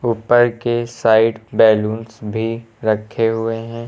ऊपर के side balloons भी रखे हुए हैं।